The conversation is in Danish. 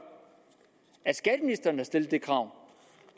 at stillet det krav